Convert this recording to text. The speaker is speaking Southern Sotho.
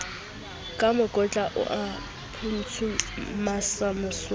ka mokotla a o phuntsemasobana